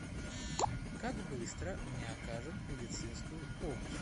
как быстро мне окажут медицинскую помощь